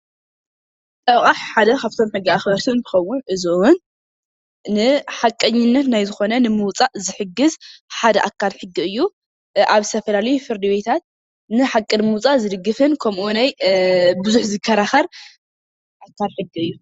ጠበቓ ሓደ ካፍቶም ሕጊ ኣኽበርቲ እንትኸውን እዚ እውን ንሓቐኝነት ናይ ዝኾነ ንምውፃእ ዝሕግዝ ሓደ ኣካል ሕጊ እዩ። ኣብ ዝተፈላለዩ ፍርዲ ቤትታት ንሓቒ ንምውፃእ ዝድግፍን ከምኡ ውናይ ቡዙሕ ዝከራከር ኣካል ሕጊ እዩ።